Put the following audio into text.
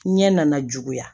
Ɲɛ nana juguya